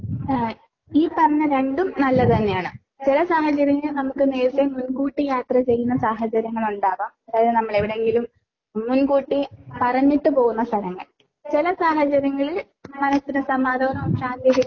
ആഹ് ഈ പറഞ്ഞ രണ്ടും നല്ലത് തന്നെയാണ്. ചില സാഹചര്യങ്ങളിൽ നമുക്ക് നേരത്തെ മുൻകൂട്ടി യാത്ര ചെയ്യുന്ന സാഹചര്യങ്ങളാ ഇണ്ടാകാ. അതായത് നമ്മളെ എവിടെയെങ്കിലും മുൻകൂട്ടി പറഞ്ഞിട്ട് പോകുന്ന സ്ഥലങ്ങൾ. ചില സാഹചര്യങ്ങളിൽ മനസ്സിന് സമാധാനവും ശാന്തിയുമൊക്കെ